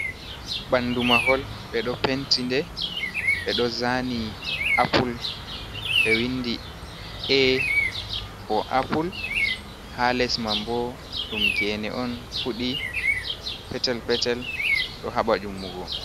Ɓandu mahol ɓe ɗo penti nde ɓe ɗo zani Aple ɓe windi A fo pple ha les mai bo ɗum gene on fuɗi petel-petel ɗo haɓɓa ummugo.